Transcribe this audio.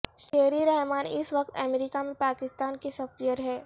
شیری رحمان اس وقت امریکہ میں پاکستان کی سفیر ہیں